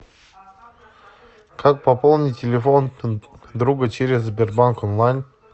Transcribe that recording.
как пополнить телефон друга через сбербанк онлайн